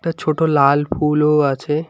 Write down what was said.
একটা ছোটো লাল ফুলও আছে।